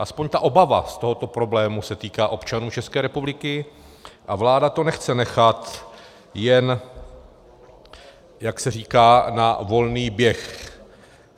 Aspoň ta obava z tohoto problému se týká občanů České republiky a vláda to nechce nechat jen, jak se říká, na volný běh.